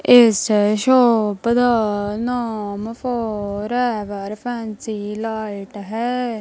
ਇਸ ਸ਼ੋਪ ਦਾ ਨਾਮ ਫੋਰਐਵਰ ਫੈਂਸੀ ਲਾਈਟ ਹੈ।